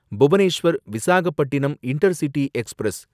Bhubaneswar Visakhapatnam intercity express